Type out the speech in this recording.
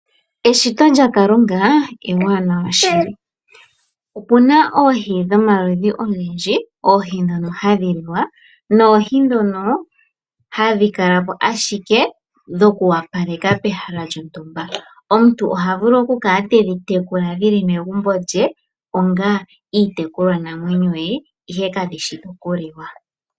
Eshito lyakalunga ewaanawa shili. Opena oohi dhomaludhi ogendji oohi dhoka hadhi liwa noohi dhono hadhi kalamo ashike dhokuwapaleka peshala lyontumba omuntu oha vulu okukala tedhi tekula dhili megumbo lye ongaa iitekulwa namwenyo ye ihe kadhishi dhokuliwa.